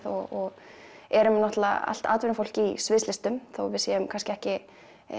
og erum náttúrulega allt atvinnufólk í sviðslistum þó við séum kannski ekki